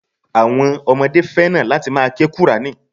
Àwọn ọmọdé fẹ́ràn láti ma ke qùrání.